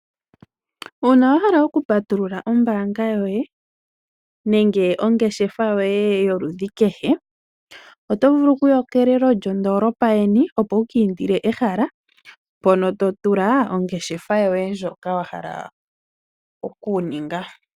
Uuna wa hala okupatulula ombaanga yoye nenge oongeshefa yoye yoludhi kehe, oto vulu okuya kelelo lyondoolopa yeni, opo wu kiindile ehala mpono to tula ongeshefa yoye ndjoka wa hala okuninga.